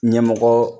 Ɲɛmɔgɔ